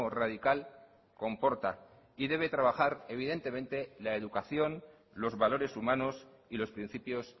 radical comporta y debe trabajar evidentemente la educación los valores humanos y los principios